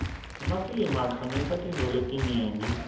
emafilimi akhangisa tintfo letinyenti